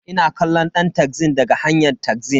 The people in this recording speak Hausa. Ina kallon ɗan taxin daga hanyn taxin.